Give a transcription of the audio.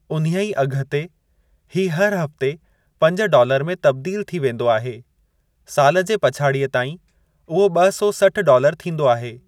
उन्हीअ अघ ते, हीउ हर हफ़्ते पंज डॉलर में तब्दील थी वेंदो आहे; साल जे पछाड़ीअ ताईं, उहो ब॒ सौ सठ डॉलर थींदो आहे।